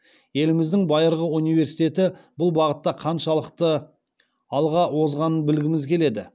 еліміздің байырғы университеті бұл бағытта қаншалықты алға озғанын білгіміз келеді